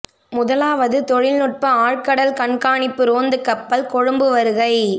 முதலாவது தொழில் நுட்ப ஆழ்கடல் கண்காணிப்பு ரோந்துக் கப்பல் கொழும்பு வருகை